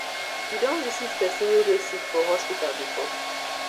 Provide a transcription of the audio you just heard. you don visit pesin wey dey sick for hospital before